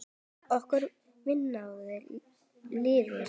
Okkar vinátta lifir.